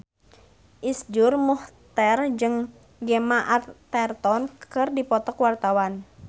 Iszur Muchtar jeung Gemma Arterton keur dipoto ku wartawan